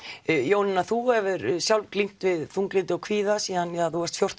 Jónína þú hefur sjálf glímt við þunglyndi og kvíða síðan þú varst fjórtán